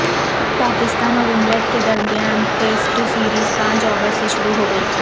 پاکستان اور انگلینڈ کے درمیان ٹیسٹ سیریز پانچ اگست سے شروع ہوگی